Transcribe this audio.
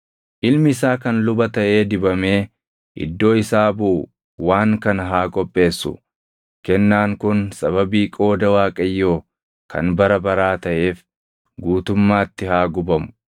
Ilmi isaa kan luba taʼee dibamee iddoo isaa buʼu waan kana haa qopheessu; kennaan kun sababii qooda Waaqayyoo kan bara baraa taʼeef guutummaatti haa gubamu.